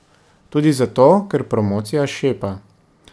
Tudi zato, ker promocija šepa.